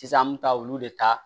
Sisan an bɛ taa olu de ta